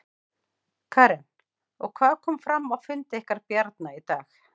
Karen: Og hvað kom fram á fundi ykkar Bjarna í dag?